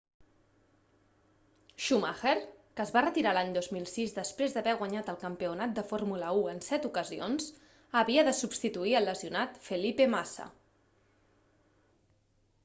schumacher que es va retirar l'any 2006 després d'haver guanyat el campionat de fórmula 1 en set ocasions havia de substituir el lesionat felipe massa